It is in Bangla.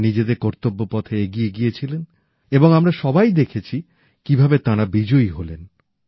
তাঁরা নিজেদের কর্তব্য পথে এগিয়ে গিয়েছিলেন এবং আমরা সবাই দেখেছি কিভাবে তাঁরা বিজয়ী হলেন